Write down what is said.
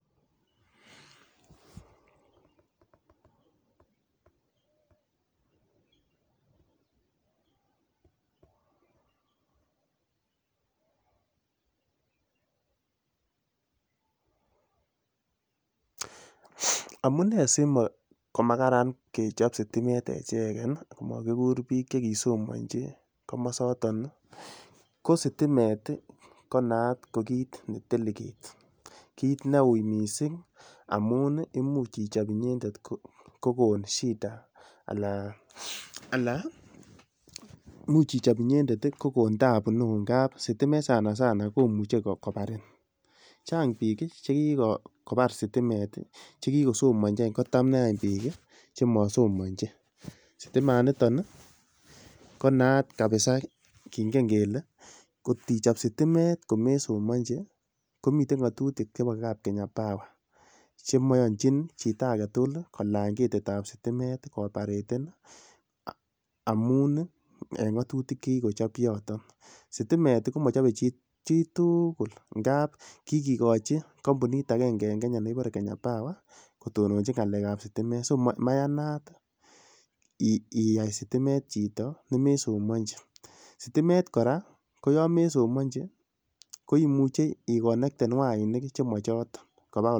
sikoma kararan kechob sitimet echeken kamakikur bichoton kosomanchi ih ko sitimet konaat ko kit ne delicate amuun ih imuch ichob inyendet ko koon shida Anan, imuch ichob inyendet ko koon taabu anan sitimet .sanasana komuche kobarin Chang biki chekikobar sitimet chekikosomachi kotab nechi bik chemasomanchi, sitimet nito ih , komiten ng'atutik chebo kab Kenya power konaat kabisa kingen kele ih kotichab sitimet komesomanichi komi